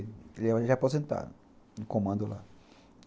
Ele é aposentado no comando lá.